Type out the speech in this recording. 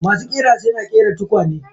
Masu ƙira suna ƙera tukwane.